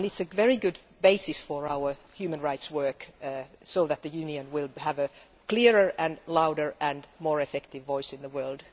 It is a very good basis for our human rights work so that the Union will have a clearer, louder and more effective voice in the world.